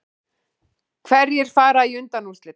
Hverjir fara í undanúrslit